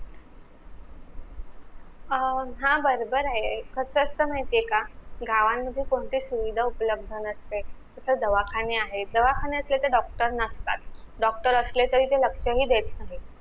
अं हा बरोबर आहे पण कस असत माहितीये का गावांमध्ये कोणती सुविधा उपलबध नसते तर दवाखाने आहेत दवाखान्यातले तर डॉक्टर नसतात डॉक्टर असले तरी ते लक्ष नाही देत